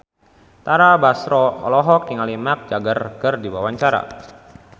Tara Basro olohok ningali Mick Jagger keur diwawancara